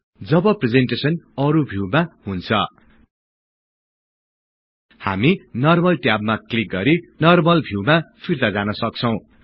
जब presentation अरु भिउमा हुन्छ हामी नर्मल ट्याबमा क्लिक गरि नर्मल भिउमा फिर्ता जान सक्छौं